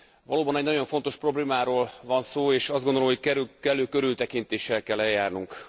Valóban egy nagyon fontos problémáról van szó, és azt gondolom, hogy kellő körültekintéssel kell eljárnunk.